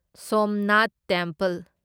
Somnath temple